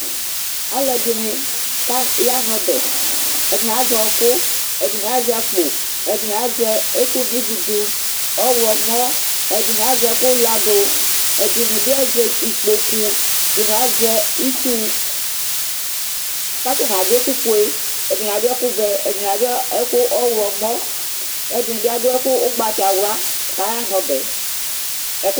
Alʋɛdini yanʋ ɔbɛ ɛdini azɛ ɔkʋ, ɛdini azɛ akpo, ɛdini azɛ ɛkʋno ividʋ, ɔwlɔmɔ, ɛdini azɛ ɛkʋlasdʋ, ɛdini bi azɛ ikpokʋ, ɛdinbi azɛ itsu kʋ atani adʋ ɛkʋfue kʋ ɛdini adʋ ɛkʋ owlɔmɔ, kʋ ɛdini bi adʋ ɛkʋ ʋgbatawla kʋ ayana ɔbɛɛ